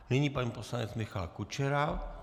Nyní pan poslanec Michal Kučera.